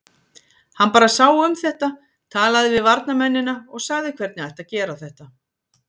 Hann bara sá um þetta, talaði við varnarmennina og sagði hvernig ætti að gera þetta.